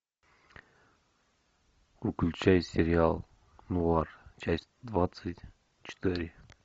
включай сериал нуар часть двадцать четыре